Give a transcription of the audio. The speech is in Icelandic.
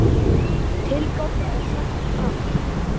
Tilgáta er sett fram.